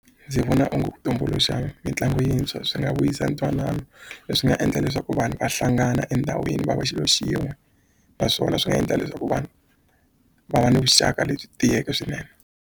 Ndzi vona onge ku tumbuluxa mitlangu yintshwa swi nga vuyisa ntwanano leswi nga endla leswaku vanhu va hlangana endhawini va va xilo xin'we naswona swi nga endla leswaku vanhu va va ni vuxaka lebyi tiyeke swinene.